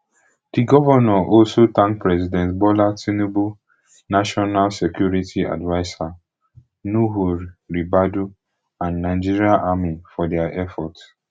di govnor also thank president bola tinubu national security adviser nuhu ribadu and nigerian army for dia effort